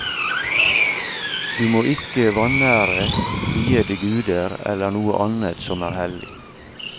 Du må ikke vanære viede guder eller noe annet som er hellig.